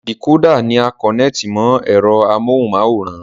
Dìkódà ni a kọ̀nẹ́ẹ̀tì mọ ẹ̀rọ amóhunmáwòrán